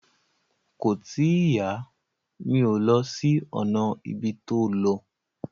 Kò tíì yá, mi ò lọ sí ọ̀nà ibi tó lọ